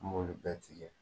An m'olu bɛ tigɛ